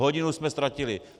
Hodinu jsme ztratili.